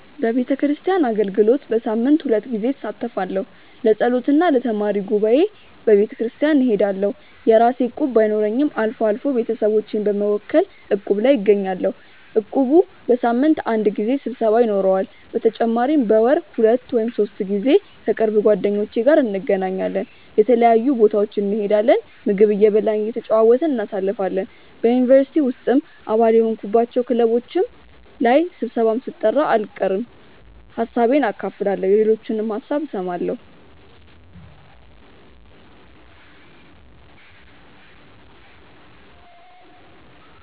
በቤተክርስቲያን አገልግሎት በሳምንት ሁለት ጊዜ እሳተፋለሁ። ለጸሎት እና ለተማሪ ጉባኤ በቤተክርስቲያን እሄዳለሁ። የራሴ እቁብ ባይኖረኝም አልፎ አልፎ ቤተሰቦቼን በመወከል እቁብ ላይ እገኛለሁ። እቁቡ በሳምንት አንድ ጊዜ ስብሰባ ይኖረዋል። በተጨማሪም በወር ሁለት ወይም ሶስት ጊዜ ከቅርብ ጓደኞቼ ጋር እንገናኛለን። የተለያዩ ቦታዎች እንሄዳለን፣ ምግብ እየበላን እየተጨዋወትን እናሳልፋለን። በ ዩኒቨርሲቲ ውስጥም አባል የሆንኩባቸው ክለቦች ላይ ስብሰባም ሲጠራ አልቀርም። ሀሳቤን አካፍላለሁ የሌሎችንም ሀሳብ እሰማለሁ።